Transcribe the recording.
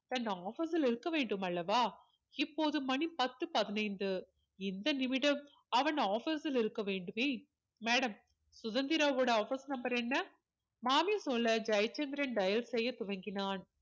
தன் office ல் இருக்க வேண்டும் அல்லவா இப்போது மணி பத்து பதினைந்து இந்த நிமிடம் அவன் office சில் இருக்க வேண்டுமே madame சுதந்திராவோட office number என்ன மாமி சொல்ல ஜெயசந்திரன் dial செய்ய துவங்கினார்